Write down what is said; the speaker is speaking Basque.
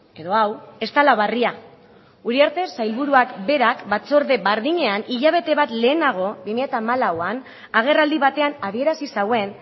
edo hau ez dela berria uriarte sailburuak berak batzorde berdinean hilabete bat lehenago bi mila hamalauan agerraldi batean adierazi zuen